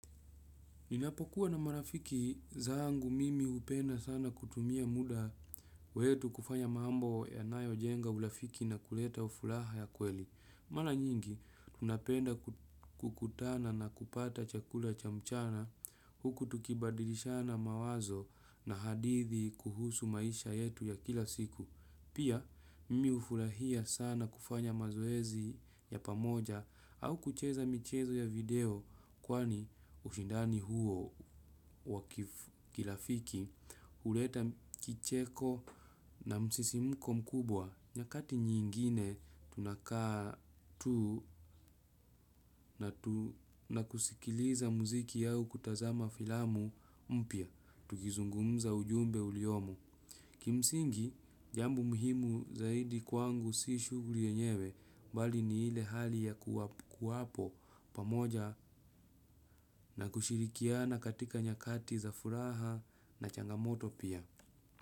Ninapokuwa na marafiki zangu mimi hupenda sana kutumia muda wetu kufanya mambo yanayojenga urafiki na kuleta furaha ya kweli. Mara nyingi, tunapenda kukutana na kupata chakula cha mchana huku tukibadilishana mawazo na hadithi kuhusu maisha yetu ya kila siku. Pia, mimi hufurahia sana kufanya mazoezi ya pamoja au kucheza michezo ya video kwani ushindani huo wa kirafiki, huleta kicheko na msisimko mkubwa. Nyakati nyingine tunakaa tu na tuna kusikiliza muziki yao kutazama filamu mpya, tukizungumza ujumbe uliyomo. Kimsingi, jambo muhimu zaidi kwangu si shughuli yenyewe bali ni ile hali ya kuwapo pamoja na kushirikiana katika nyakati za furaha na changamoto pia.